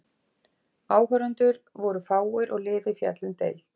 Áhorfendur voru fáir og liðið féll um deild.